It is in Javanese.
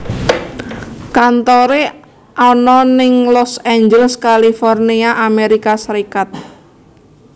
Kantoré ana ing Los Angeles California Amerika Serikat